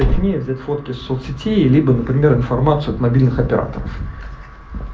с ней взять фотки соц сетей либо например информацию от мобильных операторов